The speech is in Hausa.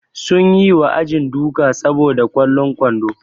Sun yi wa ajin duka saboda kwallon kwando.